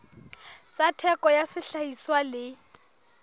tsa theko ya sehlahiswa le